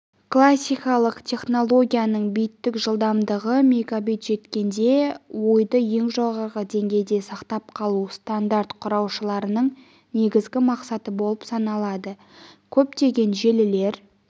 классикалық технологиясының биттік жылдамдығы мегабит жеткенде ойды ең жоғарғы деңгейде сақтап қалу стандарт құраушыларының негізгі мақсаты болып саналады көптеген желілер